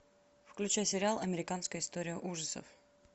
включай сериал американская история ужасов